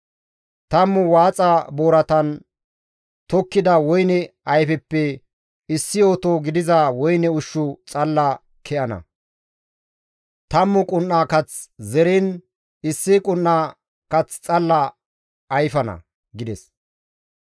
Tammu waaxa booratan tokkida woyne ayfeppe issi oto gidiza woyne ushshi xalla ke7ana; tammu qun7a kath zeriin issi qun7a kaththi xalla ayfana» gides.